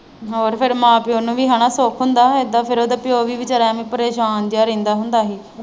ਹੋਰ ਫਿਰ ਮਾਂ ਪਿਉ ਨੂੰ ਵੀ ਹਨਾਂ ਸੁੱਖ ਹੁੰਦਾ ਉਦਾਂ ਫਿਰ ਉਹਦਾ ਪਿਉ ਵੀ ਵਿਚਾਰਾ ਐਂਵੇ ਪਰੇਸ਼ਾਨ ਜਿਹਾ ਰਹਿੰਦਾ ਹੁੰਦਾ ਹੀ।